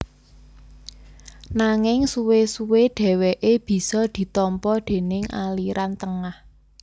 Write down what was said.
Nanging suwé suwé dhèwèké bisa ditampa déning aliran tengah